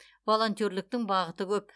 волонтерліктің бағыты көп